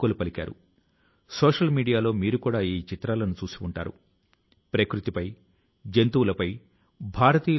సప్త సముద్రాల అవతల ఉన్న ప్రజల కు దీని ప్రయోజనాలను అందజేసేందుకు కూడా వినూత్న పద్ధతులను అవలంబించడం జరుగుతున్నది